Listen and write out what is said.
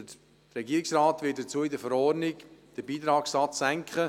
Dazu wird der Regierungsrat in der Verordnung den Beitragssatz senken.